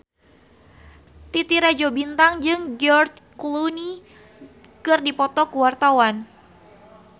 Titi Rajo Bintang jeung George Clooney keur dipoto ku wartawan